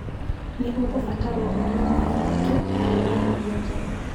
Nĩ ũkũbataro ũnywe maĩ maingĩ na ũrĩe irio njega.